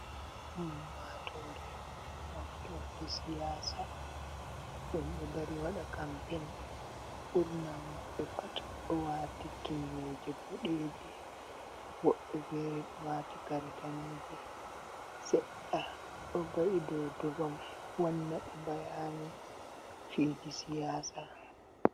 Ummatore moftorde siyasa ɗum ɗo dari waɗa kampen ɓurna maɓɓe pat ɗo wati kimneje bodeje, woɓɓe fere ɗo wati kare daneje, sedda ɗo va'i dou durom wanna be bayani fiji siyasa.